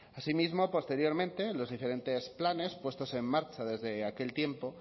asimismo posteriormente los diferentes planes puestos en marcha desde aquel tiempo